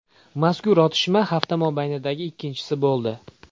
Mazkur otishma hafta mobaynidagi ikkinchisi bo‘ldi.